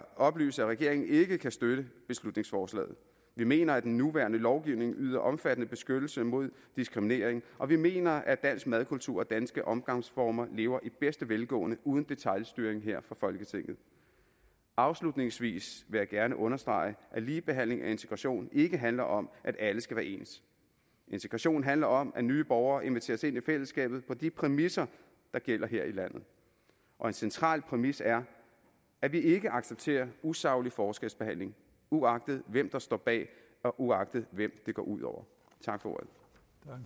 oplyse at regeringen ikke kan støtte beslutningsforslaget vi mener at den nuværende lovgivning yder omfattende beskyttelse mod diskriminering og vi mener at dansk madkultur og danske omgangsformer lever i bedste velgående uden detailstyring her fra folketinget afslutningsvis vil jeg gerne understrege at ligebehandling og integration ikke handler om at alle skal være ens integration handler om at nye borgere inviteres ind i fællesskabet på de præmisser der gælder her i landet og en central præmis er at vi ikke accepterer usaglig forskelsbehandling uagtet hvem der står bag og uagtet hvem det går ud over tak for